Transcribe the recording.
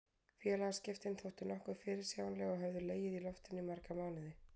Félagaskiptin þóttu nokkuð fyrirsjáanleg og höfðu legið í loftinu í marga mánuði.